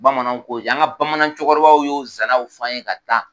Bamananw ko yan an ka bamanan cɛkɔrɔ baw y'o zanaw f'an ye ka taa.